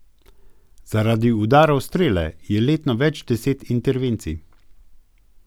Zaradi udarov strele je letno več deset intervencij.